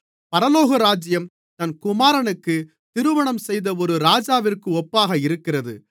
பரலோகராஜ்யம் தன் குமாரனுக்கு திருமணம் செய்த ஒரு ராஜாவிற்கு ஒப்பாக இருக்கிறது